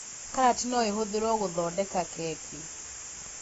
Karati no ĩhũthĩrwo gũthondeka keki